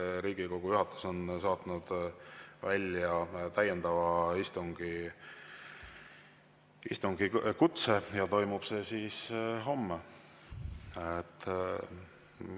Riigikogu juhatus on saatnud välja täiendava istungi kutse ja toimub see istung homme.